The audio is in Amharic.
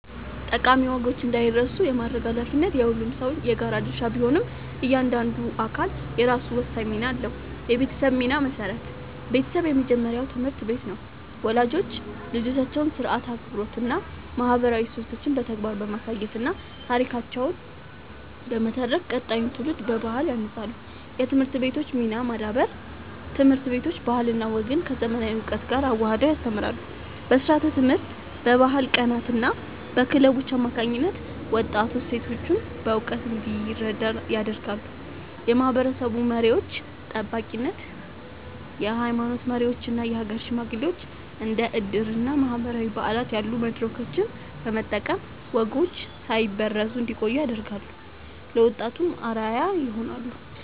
ጠቃሚ ወጎች እንዳይረሱ የማድረግ ኃላፊነት የሁሉም ሰው የጋራ ድርሻ ቢሆንም፣ እያንዳንዱ አካል የራሱ ወሳኝ ሚና አለው፦ የቤተሰብ ሚና (መሠረት)፦ ቤተሰብ የመጀመሪያው ትምህርት ቤት ነው። ወላጆች ልጆቻቸውን ሥርዓት፣ አክብሮትና ማህበራዊ እሴቶችን በተግባር በማሳየትና ታሪኮችን በመተረክ ቀጣዩን ትውልድ በባህል ያንጻሉ። የትምህርት ቤቶች ሚና (ማዳበር)፦ ትምህርት ቤቶች ባህልና ወግን ከዘመናዊ እውቀት ጋር አዋህደው ያስተምራሉ። በስርዓተ-ትምህርት፣ በባህል ቀናትና በክለቦች አማካኝነት ወጣቱ እሴቶቹን በእውቀት እንዲረዳ ያደርጋሉ። የማህበረሰብ መሪዎች (ጠባቂነት)፦ የሃይማኖት መሪዎችና የሀገር ሽማግሌዎች እንደ ዕድርና ማህበራዊ በዓላት ያሉ መድረኮችን በመጠቀም ወጎች ሳይበረዙ እንዲቆዩ ያደርጋሉ፤ ለወጣቱም አርአያ ይሆናሉ።